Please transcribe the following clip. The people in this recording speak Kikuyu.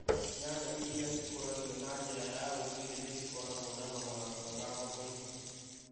Nyanya iria cikũragio na njĩra ya ũndũire nĩ cigũragwo na thogora mwega thoko-inĩ.